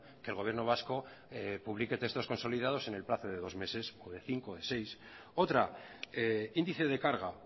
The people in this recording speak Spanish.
que el gobierno vasco publique textos consolidados en el plazo de dos meses o de cinco o de seis otra índice de carga